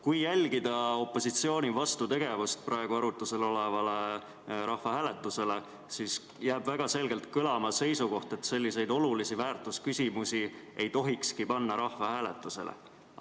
Kui jälgida opositsiooni vastutegevust praegu arutlusel olevale rahvahääletusele, siis jääb väga selgelt kõlama seisukoht, et selliseid olulisi väärtusküsimusi ei tohikski rahvahääletusele panna.